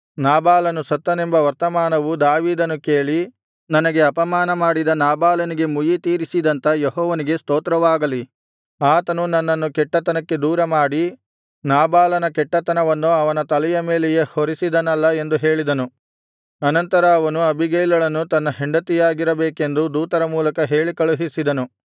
ನಾಬಾಲನು ಸತ್ತನೆಂಬ ವರ್ತಮಾನವು ದಾವೀದನು ಕೇಳಿ ನನಗೆ ಅಪಮಾನ ಮಾಡಿದ ನಾಬಾಲನಿಗೆ ಮುಯ್ಯಿತೀರಿಸಿದಂತ ಯೆಹೋವನಿಗೆ ಸ್ತೋತ್ರವಾಗಲಿ ಆತನು ನನ್ನನ್ನು ಕೆಟ್ಟತನಕ್ಕೆ ದೂರಮಾಡಿ ನಾಬಾಲನ ಕೆಟ್ಟತನವನ್ನು ಅವನ ತಲೆಯ ಮೇಲೆಯೇ ಹೊರಿಸಿದನಲ್ಲಾ ಎಂದು ಹೇಳಿದನು ಅನಂತರ ಅವನು ಅಬೀಗೈಲಳನ್ನು ತನಗೆ ಹೆಂಡತಿಯಾಗಿರಬೇಕೆಂದು ದೂತರ ಮೂಲಕ ಹೇಳಿ ಕಳುಹಿಸಿದನು